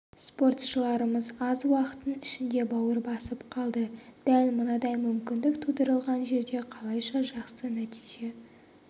спортшыларымыз аз уақыттың ішінде бауыр басып қалды дәл мынадай мүмкіндік тудырылған жерде қалайша жақсы нәтиже